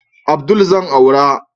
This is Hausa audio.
Abdul zan aura